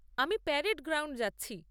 আমি parade ground যাচ্ছি।